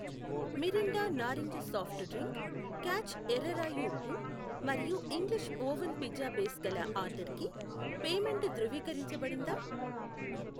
Mirinda నారింజ soft drink, Catch ఎర్ర రాయి ఉప్పు మరియు ఇంగ్లీష్ ఒవెన్ పిజ్జా బేస్ గల ఆర్డర్కి పేమెంటు ధృవీకరించబడిందా?